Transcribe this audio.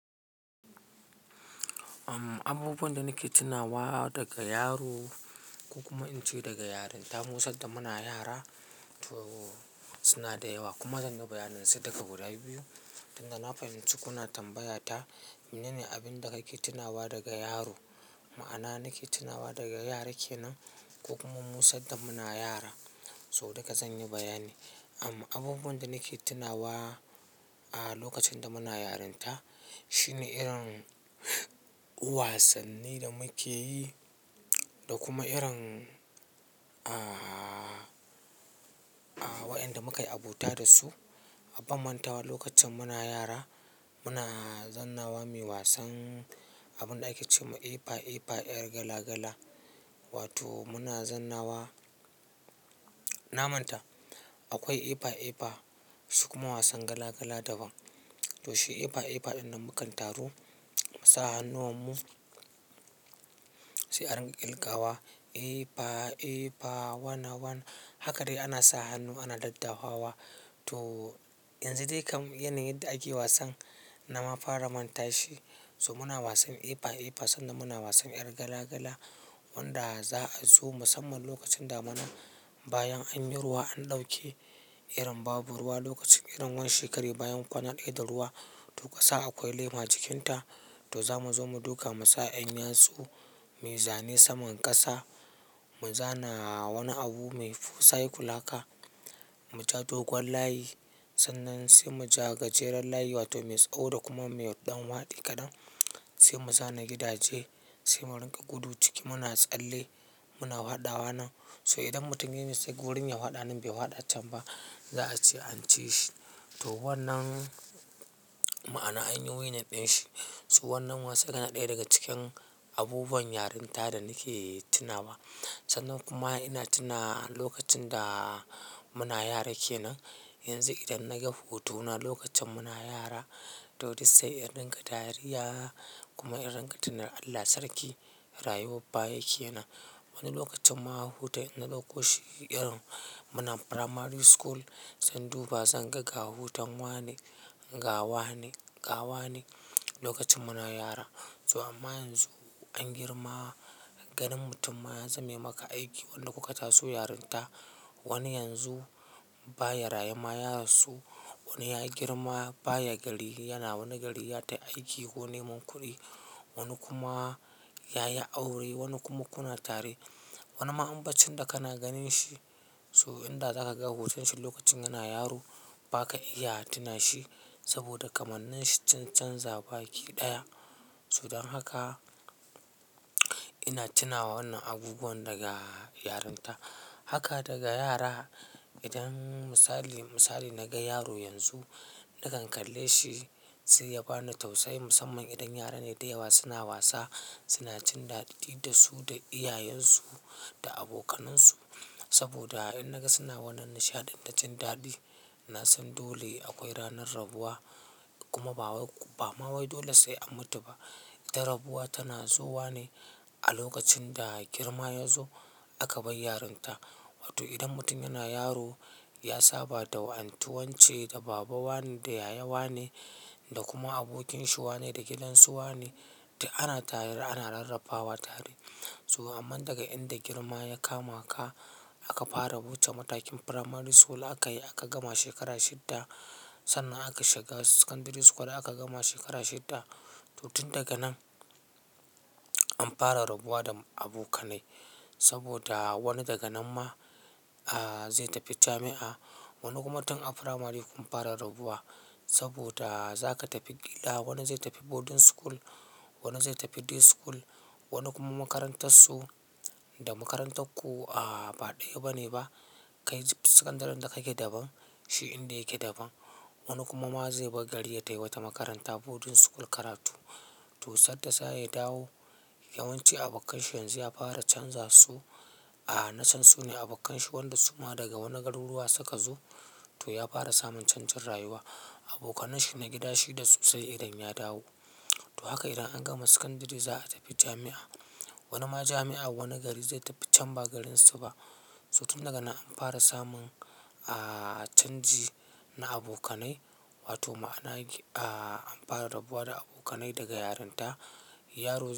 Abubuwan da nake tunawa daga yaro, ko kuma in ce daga yarinta. Mu sanda muna yara, toh suna da yawa kuma zan yi bayanin su duka guda biyu. Tunda na fahinci kuna tambaya ta, mene ne abin da kake tunawa daga yaro? Ma'ana nake tunawa daga yara kenan, ko kuma mu sanda muna yara. So duka zan yi bayani. Amma abubuwan da nake tunawa a lokacin da muna yarinta, shine irin wasannin da muke yi da kuma irin. A, a wayanda muka yi abota da su, ban mantawa lokacin muna yara muna zannawa muyi wasan abin da ake ce ma epa-epa, 'yar gala gala. Wato muna zannawa, na manta. Akwai epa-epa su kuma wasan gala gala daban. Toh shi epa-epa ɗin da mukan taru, mu sa hannuwanmu sai an riƙa ƙirgawa. Epa-epa, wana wan. Haka dai ana sa hannu ana daddawa wa. To yanzu dai kam yana yadda ake wasan na ma fara manta shi. So muna wasan epa-epa sanda muna wasan 'yar gala gala wanda za a zo musamman lokacin da muna bayan an yi ruwa an ɗauke irin babu ruwa lokacin irin wani shekara bayan kuna ɗaya da ruwa. Toh ƙasa akwai lema cikinta to za mu zo mu duka Musa 'yan yatsu muyi zane saman ƙasa, mu zana wani abu mai full science kulaka, mu ja dogon layi. Sannan sai mu ja gajeren layi wato mai tsawo da kuma mai ɗan waɗi kaɗan. Sai mu zana gidaje, sai mu riƙa gudu ciki muna tsalle. Muna faɗawa nan. So idan mutum ya yi mistake gurin ya waɗa nan bai waɗa can ba, za a ce an ci shi. Toh wannan ma'ana an yi wuya naɗin shi. So wannan wasa yana ɗaya daga cikin abubuwan yarinta da nake tunawa. Sannan kuma ina tuna lokacin da muna yara kenan. Yanzu idan na ga hutu na lokacin muna yara, toh duk sai irin ga dariya kuma irin ka tuna Allah sarki rayuwar ba yake nan. Wani lokacin ma a huta ina ɗauko shi irin muna primary school sanda ba zan ga ga hutun wa ne, ga wa ne, ƙa wa ne lokacin muna yara. So amma yanzu, an girma, ganin mutum ma ya zame maka aiki. Wanne kuka taso yarinta. Wani yanzu baya raye ma ya rasu. Wani ya girma baya gari yana wani gari ya tafi aiki ko neman kuɗi. Wani kuma ya yi aure, wani kuma kuna tare. Wani ma ambacin da kana ganin shi, so idan za ka ga hutun shi lokacin yana yaro ba ka iya tuna shi saboda kamannin shi sun canza baki ɗaya. So don haka ina tuna wannan abubuwan daga yarinta. Haka daga yara idan misali, misali na ga yaro yanzu nakan kalle shi sai ya bani tausayi musamman idan yaran ne da yawa suna wasa, suna cin daɗi da su, da iyayen su, da abokanansu. Saboda in naga suna wannan nishaɗin da cin daɗi ina son dole akwai ranar rabuwa kuma ba wai, ba ma wai dole sai an mutu ba. Da rabuwa tana zuwa ne a lokacin da girma ya zo aka bin yarinta. Wato idan mutum yana yaro ya saba da wani tuwanci, da baba wa ne, da yaya wa ne da kuma abokin shi wa ne da gidansu wa ne. Tai ana tari, ana rarrabawa tari. So amma daga inda girma ya kama ka, aka fara wuce matakin primary school aka yi aka gama shekara shidda. Sannan aka shiga secondary school aka gama shekara shidda. To tun daga nan an fara rabuwa da abokanai saboda wani daga nan ma zai tafi jami'a. Wani kuma tan a primary kun fara rabuwa saboda za ka tafi gida. Wani zai tafi boarding school, wani zai tafi day school, wani kuma makarantar su da makarantar ku a ba ɗaya bane ba. Kai secondary da kake daban, shi inda yake daban. Wani kuma ma zai bar gari ya tafi wata makaranta boarding school karatu. Toh sanda zaya dawo yawanci abokan shi yanzu ya fara canza su. A nasan su ne abokan shi wanda suma daga wani garuruwa suka zo. To ya fara samun canjin rayuwa. Abokanan shi na gida shi da su sai idan ya dawo. To haka idan an gama secondary za a tafi jami'a. Wani ma jami'a a wani gari zai tafi can ba garin su ba. So tun daga nan an fara samun, a canji na abokanai. Wato ma'ana an fara rabuwa da abokanai daga yarinta. Yaro yanzu.